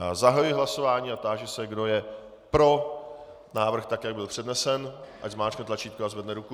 Já zahajuji hlasování a táži se, kdo je pro návrh, tak jak byl přednesen, ať zmáčkne tlačítko a zvedne ruku.